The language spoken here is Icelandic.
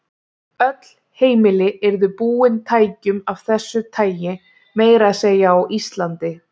Öll heimili yrðu búin tækjum af þessu tagi, meira að segja á Íslandi.